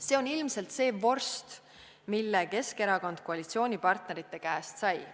See on ilmselt see vorst, mille Keskerakond koalitsioonipartnerite käest sai.